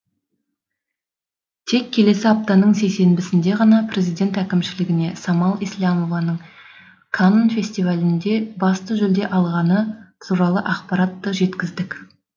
тек келесі аптаның сейсенбісінде ғана президент әкімшілігіне самал еслямованың канн фестивалінде басты жүлдені алғаны туралы ақпаратты жеткіздік